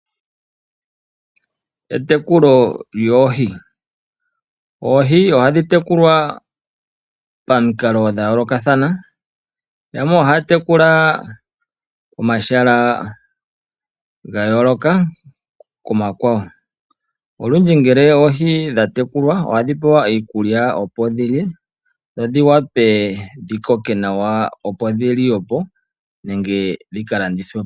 Etekulo lyoohi Oohi ohadhi tekulwa pamikalo dha yoolokathana. Yamwe ohaya tekula pomahala ga yooloka komakwawo. Olundji ngele oohi tadhi tekulwa ohadhi pewa iikulya, opo dhi lye dho dhi wape dhi koke nawa, opo dhi liwe po nenge dhi ka landithwe po.